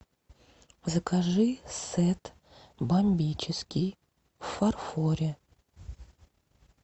закажи сет бомбический в фарфоре